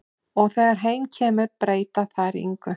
Og þegar heim kemur breyta þær engu.